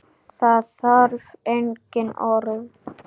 Það þarf engin orð.